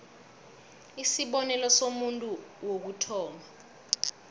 isibonelo somuntu wokuthoma